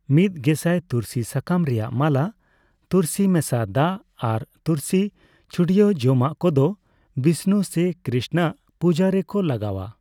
ᱢᱤᱫ ᱜᱮᱥᱟᱭ ᱛᱩᱨᱥᱤ ᱥᱟᱠᱟᱢ ᱨᱮᱭᱟᱜ ᱢᱟᱞᱟ, ᱛᱩᱨᱥᱤ ᱢᱮᱥᱟ ᱫᱟᱜ ᱟᱨ ᱛᱩᱨᱥᱤ ᱪᱷᱩᱲᱭᱟᱹᱣ ᱡᱚᱢᱟᱜ ᱠᱚᱫᱚ ᱵᱤᱥᱱᱩ ᱥᱮ ᱠᱨᱤᱥᱱᱚ ᱟᱜ ᱯᱩᱡᱟᱹᱨᱮ ᱠᱚ ᱞᱟᱜᱟᱣᱟ ᱾